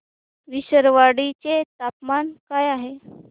विसरवाडी चे तापमान काय आहे